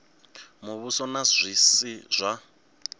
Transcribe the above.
muvhuso na zwi si zwa